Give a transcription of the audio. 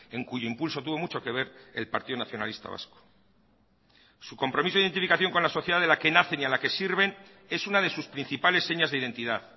en cuyo impulso tuvo mucho que ver el partido nacionalista vasco su compromiso e identificación con la sociedad en la que nace y a la que sirven es una de sus principales señas de identidad